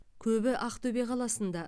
көбі ақтөбе қаласында